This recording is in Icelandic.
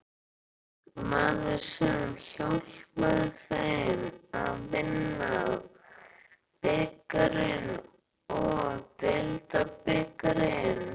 Maðurinn sem hjálpaði þeim að vinna bikarinn og deildabikarinn?